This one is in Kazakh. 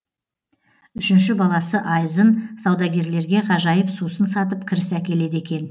үшінші баласы айзын саудагерлерге ғажайып сусын сатып кіріс әкеледі екен